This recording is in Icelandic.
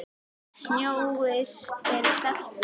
Snjórinn er sleipur!